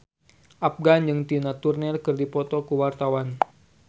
Afgan jeung Tina Turner keur dipoto ku wartawan